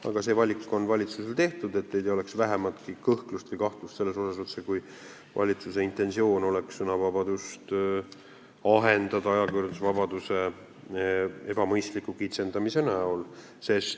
Aga see valik on valitsusel tehtud, et teil ei oleks vähematki kõhklust või kahtlust, otsekui valitsuse intensioon oleks sõnavabadust ajakirjandusvabaduse ebamõistliku kitsendamise teel ahendada.